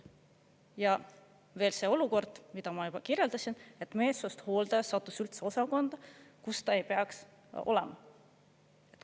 Ja veel see olukord, mida ma juba kirjeldasin, et meelsust hooldaja sattus üldse osakonda, kus ta ei peaks olema.